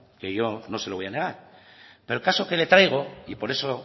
que yo no se lo voy a negar pero el caso que le traigo y por eso